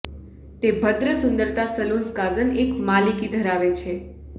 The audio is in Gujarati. તે ભદ્ર સુંદરતા સલુન્સ કાઝન એક માલિકી ધરાવે છે